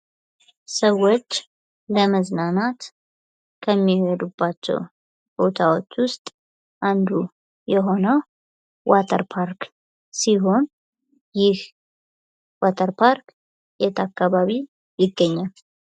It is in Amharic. ሰዎች ለመዝናናት ከሚሄዱባቸው ቦታዎች ውስጥ አንዱ የሆነው ዋተር ፓርክ ሲሆን ይህ ዋተር ፓርክ የት አካባቢ ይገኛል?